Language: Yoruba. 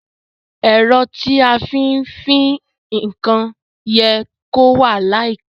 Èro tí a fí n fin nkan ye kó wà láìpe